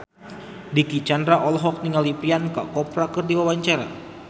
Dicky Chandra olohok ningali Priyanka Chopra keur diwawancara